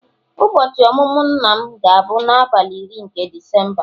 ụbọchị ọmụmụ nna m ga-abụ n'abalị iri nke Disemba